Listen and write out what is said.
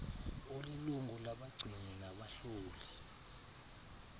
olilungu labagcini nabahloli